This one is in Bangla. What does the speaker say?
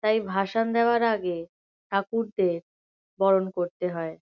তাই ভাসান দেওয়ার আগে ঠাকুরদের বরণ করতে হয়।